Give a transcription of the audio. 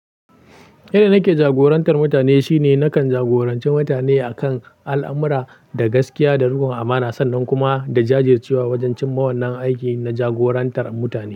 Yadda nake jagorantar mutane shine nakan jagoranci mutane akan al'amura da gaskiya da rukon amana sannan kuma da jajircewa wajen cinma wannan aiki na jagorantar mutane.